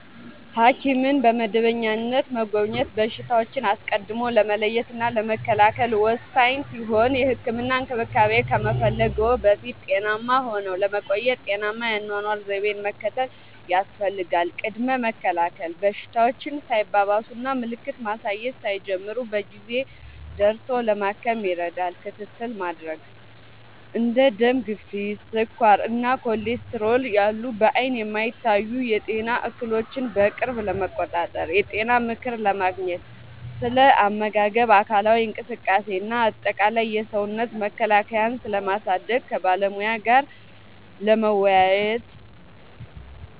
ሐኪምን በመደበኛነት መጎብኘት በሽታዎችን አስቀድሞ ለመለየትና ለመከላከል ወሳኝ ሲሆን፥ የህክምና እንክብካቤ ከመፈለግዎ በፊት ጤናማ ሆነው ለመቆየት ጤናማ የአኗኗር ዘይቤን መከተል ያስፈልጋል። ቅድመ መከላከል፦ በሽታዎች ሳይባባሱና ምልክት ማሳየት ሳይጀምሩ በጊዜ ደርሶ ለማከም ይረዳል። ክትትል ለማድረግ፦ እንደ ደም ግፊት፣ ስኳር እና ኮሌስትሮል ያሉ በዓይን የማይታዩ የጤና እክሎችን በቅርብ ለመቆጣጠር። የጤና ምክር ለማግኘት፦ ስለ አመጋገብ፣ አካላዊ እንቅስቃሴ እና አጠቃላይ የሰውነት መከላከያን ስለማሳደግ ከባለሙያ ጋር ለመወያየት።